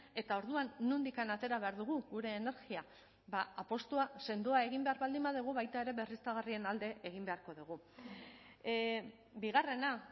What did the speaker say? eta orduan nondik atera behar dugu gure energia apustua sendoa egin behar baldin badugu baita ere berriztagarrien alde egin beharko dugu bigarrena